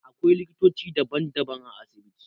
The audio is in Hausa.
Akwailiktoci daban daban a asibiti